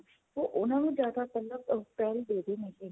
ਉਹ ਉਹਨਾ ਨੂੰ ਜਿਆਦਾ ਪਿਹਲ ਦੇ ਰਹੇ ਨੇਗੇ